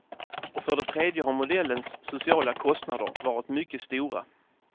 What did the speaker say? Och för det tredje har modellens sociala kostnader varit mycket stora.